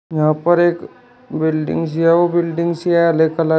यहां पर एक बिल्डिंग्स ही है वो बिल्डिंग्स है हरे कलर --